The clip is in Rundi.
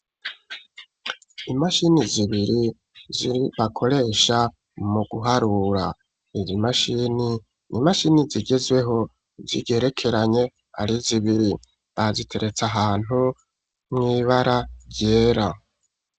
Imashini zibiri zibakoresha mu guharura izi imashini n'imashini zigezweho zigerekeranye ari zibiri baziteretsa ahantu mwibara ryera.